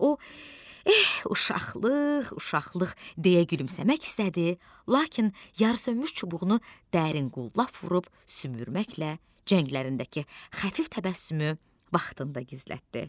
O, eh, uşaqlıq, uşaqlıq, deyə gülümsəmək istədi, lakin yarısönmüş çubuğunu dərin qulp vurub sümürməklə çənələrindəki xəfif təbəssümü vaxtında gizlətdi.